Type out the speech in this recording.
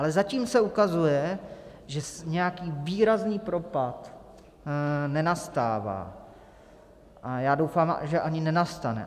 Ale zatím se ukazuje, že nějaký výrazný propad nenastává, a já doufám, že ani nenastane.